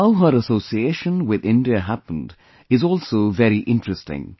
How her association with India happened is also very interesting